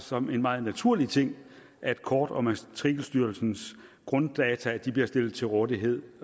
som en meget naturlig ting at kort og matrikelstyrelsens grunddata bliver stillet til rådighed